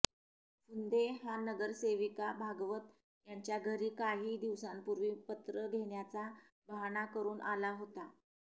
फुंदे हा नगरसेविका भागवत यांच्या घरी काही दिवसांपूर्वी पत्र घेण्याचा बहाणा करून आला होता